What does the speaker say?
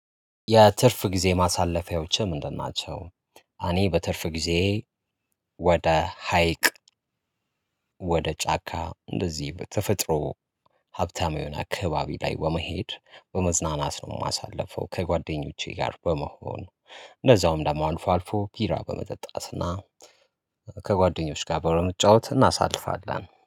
የትርፍ ጊዜ ማሳለፊያዎችህ ምንድን ናቸው? አኔ በትርፍ ጊዜዬ ወደ ሀይቅ ወደ ጫካ እንደዚህ በተፈጥሮ ሀብታም የሆነ አካባቢ ላይ በመሄድ በመዝናናት ነው የማሳልፈው። ከጓደኞቼ ጋር በመሆን እንደዛውም ደግሞ አልፎ አልፎ ቢራ በመጠጣት እና ከጓደኞች ጋር በመጫወት እናሳልፋለን